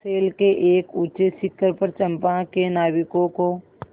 शैल के एक ऊँचे शिखर पर चंपा के नाविकों को